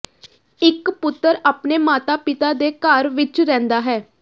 ਇਕ ਪੁੱਤਰ ਆਪਣੇ ਮਾਤਾ ਪਿਤਾ ਦੇ ਘਰ ਵਿਚ ਰਹਿੰਦਾ ਹੈ